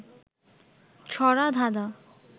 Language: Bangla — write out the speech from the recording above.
ছড়া, ধাঁধা